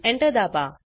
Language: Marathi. Enter दाबा